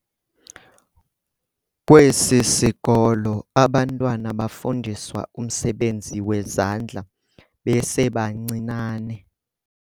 Kwesi sikolo abantwana bafundiswa umsebenzi wezandla besebancinane.